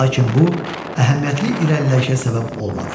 Lakin bu əhəmiyyətli irəliləyişə səbəb olmadı.